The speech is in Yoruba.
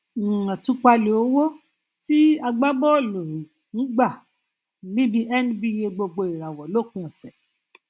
um àtúpalẹ owó tí agbábọọlù um gba níbi nba gbogboìràwọ lópin ọsẹ